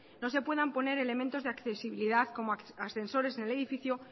no se pueda poner elementos de accesibilidad como ascensores en el edificio